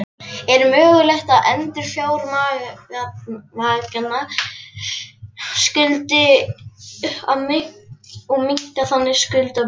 Er mögulegt að endurfjármagna skuldirnar og minnka þannig skuldabyrðina?